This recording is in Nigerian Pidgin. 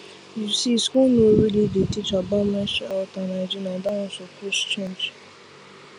you see school no really dey teach about menstrual health and hygiene and that one suppose change